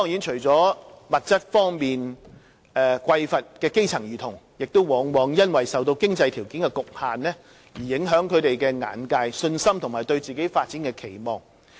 除了物質方面的匱乏，基層兒童也往往因為受到經濟條件的局限而影響了他們的眼界、信心和對自己發展的期望。